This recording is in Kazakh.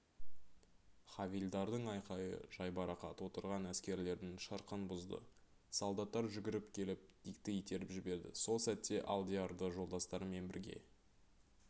хавильдардың айқайы жайбарақат отырған әскерлердің шырқын бұзды солдаттар жүгіріп келіп дикті итеріп жіберді сол сәтте алдиярды жолдастарымен бірге